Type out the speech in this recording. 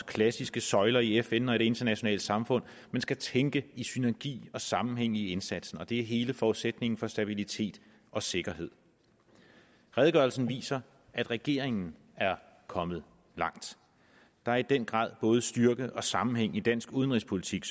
klassiske søjler i fn og i det internationale samfund men skal tænke i synergi og sammenhæng i indsatsen og det er hele forudsætningen for stabilitet og sikkerhed redegørelsen viser at regeringen er kommet langt der er i den grad både styrke og sammenhæng i dansk udenrigspolitik